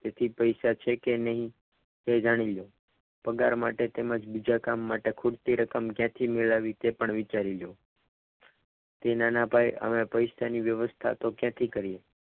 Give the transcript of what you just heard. તેથી પૈસા છે કે નહીં તે જાણી લો પગાર માટે તેમજ બીજા કામ માટે ખૂટતી રકમ ક્યાંથી મેળવવી તે પણ વિચારી લો તે નાના ભાઈ પૈસાની તો વ્યવસ્થા હવે ક્યાંથી કરવી?